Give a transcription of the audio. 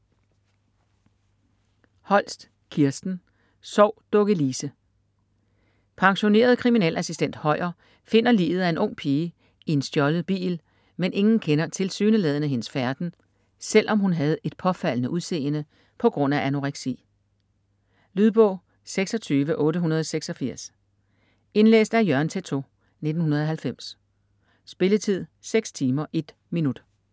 Holst, Kirsten: Sov Dukke Lise - Pensioneret kriminalassistent Høyer finder liget af en ung pige i en stjålet bil, men ingen kender tilsyneladende hendes færden, selv om hun havde et påfaldende udseende på grund af anoreksi. Lydbog 26886 Indlæst af Jørgen Teytaud, 1990. Spilletid: 6 timer, 1 minut.